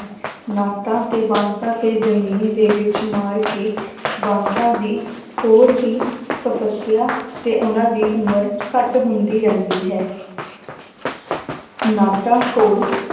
ਨਾਟਾਂ ਤੇ ਬਾਂਸਾਂ ਤੇ ਜ਼ਮੀਨ ਦੇ ਵਿੱਚ ਮਾਰ ਕੇ ਬਾਂਸਾਂ ਦੀ ਹੋਰ ਹੀ ਤਪਸਿਆ ਤੇ ਉਹਨਾਂ ਦੀ ਉਮਰ ਘੱਟ ਹੁੰਦੀ ਰਹਿੰਦੀ ਹੈ ਨਾਟਾਂ ਕੋਲ